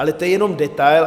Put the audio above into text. Ale to je jenom detail.